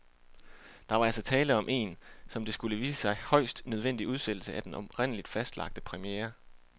Der var altså tale om en, som det skulle vise sig, højst nødvendig udsættelse af den oprindeligt fastlagte premiere.